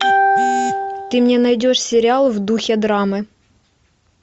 ты мне найдешь сериал в духе драмы